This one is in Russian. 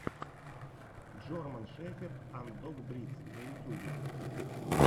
джорман шеферд анд дог бридс на ютьюбе